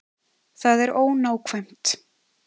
Það er ónákvæmt.